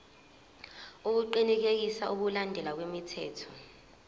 ukuqinisekisa ukulandelwa kwemithetho